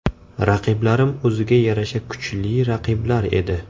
Raqiblarim o‘ziga yarasha kuchli raqiblar edi.